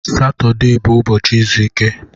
Satọde bụ ụbọchị izu ike